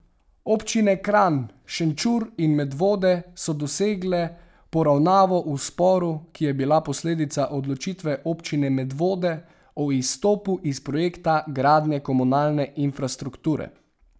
Občine Kranj, Šenčur in Medvode so dosegle poravnavo v sporu, ki je bil posledica odločitve občine Medvode o izstopu iz projekta gradnje komunalne infrastrukture.